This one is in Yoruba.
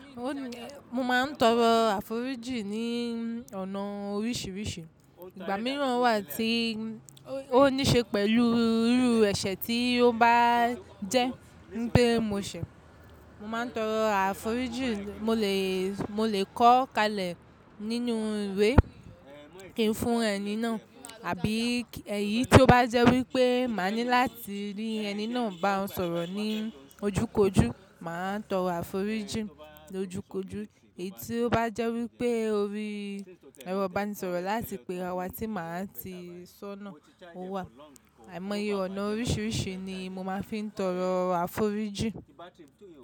Mo máa ń tọrọ àforíjì ní ọ̀nà oríṣiríṣi. Ìgbà mìíràn wà tí ó níṣe pẹ̀lú irú ẹ̀ṣẹ̀ tí ó bá jẹ́ pé mo ṣẹ̀, mo máa ń tọrọ àforíjì, mo lè, mo lè kọọ́ kalẹ̀ nínú ìwé kí n fún ẹni náà, àbí ẹyí tí ó bá jẹ́ wípé máa ní láti rí ẹni náà ba ọ̀ sọ̀rọ̀ ní ojúkójú, màá tọrọ àforíjì lójúkójú. Èyí tí ó bá jẹ́ wípé ó rí, ẹrọ ìbanisọ̀rọ̀ lááti pè ara wá tí màá ti sọ́ nà, ó wà. Àìmọye ọ̀nà oríṣiríṣi ni mo máa fi ń tọrọ àforíjì.